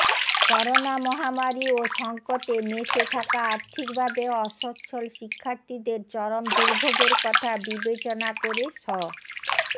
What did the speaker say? corona মহামারি ও সংকটে মেসে থাকা আর্থিকভাবে অস্বচ্ছল শিক্ষার্থীদের চরম দুর্ভোগের কথা বিবেচনা করে শ